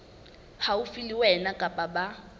haufi le wena kapa ba